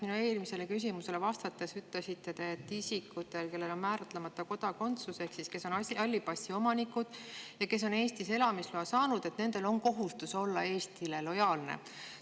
Minu eelmisele küsimusele vastates te ütlesite, et isikutel, kellel on määratlemata kodakondsus ehk kes on halli passi omanikud ja Eestis elamisloa saanud, on kohustus olla Eestile lojaalne.